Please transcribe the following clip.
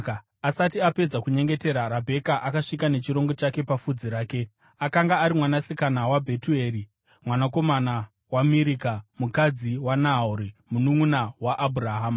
Asati apedza kunyengetera, Rabheka akasvika nechirongo chake papfudzi rake. Akanga ari mwanasikana waBhetueri mwanakomana waMirika, mukadzi waNahori mununʼuna waAbhurahama.